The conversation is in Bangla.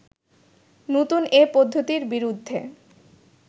নতুন এ পদ্ধতির বিরুদ্ধে